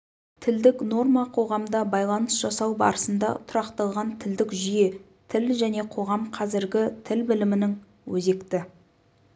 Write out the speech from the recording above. тілдік норма қоғамда байланыс жасау барысында тұрақталған тілдік жүйе тіл және қоғам қазіргі тіл білімінің өзекті